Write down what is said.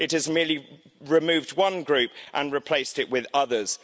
It has merely removed one group and replaced it with others.